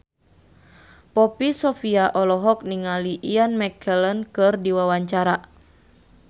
Poppy Sovia olohok ningali Ian McKellen keur diwawancara